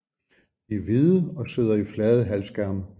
De er hvide og sidder i flade halvskærme